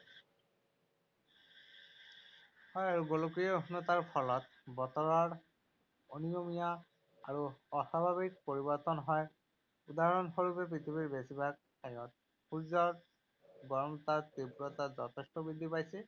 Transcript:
গোলকীয় উষ্ণতাৰ ফলত বতৰত অনিয়মীয়া আৰু অস্বাভাৱিক পৰিৱৰ্তন হয় উদাহৰণ স্বৰূপে পৃথিৱীৰ বেছিভাগ ঠাইত সূৰ্যৰ গৰমতাৰ তীব্ৰতা যথেষ্ট বৃদ্ধি পাইছে